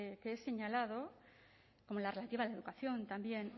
que he señalado como la relativa a la educación también